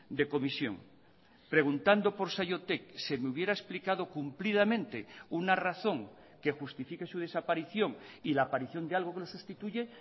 de comisión preguntando por saiotek se me hubiera explicado cumplidamente una razón que justifique su desaparición y la aparición de algo que lo sustituye